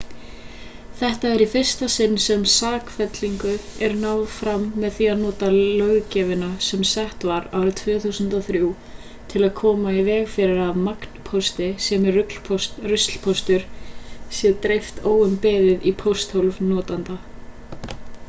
þetta er í fyrsta sinn sem sakfellingu er náð fram með því að nota löggjöfina sem sett var árið 2003 til að koma í veg fyrir að magnpósti sem er ruslpóstur sé dreift óumbeðið í pósthólf notenda